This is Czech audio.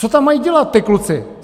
Co tam mají dělat ti kluci?